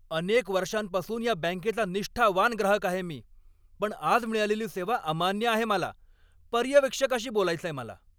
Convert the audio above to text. अनेक वर्षांपासून या बँकेचा निष्ठावान ग्राहक आहे मी, पण आज मिळालेली सेवा अमान्य आहे मला. पर्यवेक्षकाशी बोलायचंय मला!